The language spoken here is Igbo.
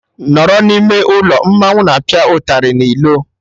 Nọrọ n'ime ụlọ! Mmanwụ na apịa ụtarị na ilo